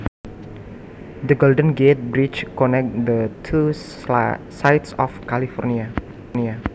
The Golden Gate Bridge connects the two sides of California